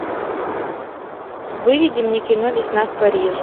выведи мне кино весна в париже